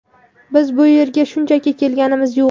Biz bu yerga shunchaki kelganimiz yo‘q.